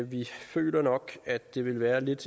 vi føler nok at det vil være lidt